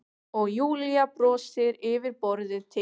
Og Júlía brosir yfir borðið til